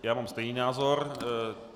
Já mám stejný názor.